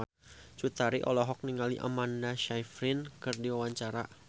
Cut Tari olohok ningali Amanda Sayfried keur diwawancara